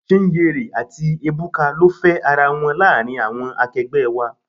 Chinyere àti Ebuka ló fe ara wọn láàárín àwọn akegbe wá.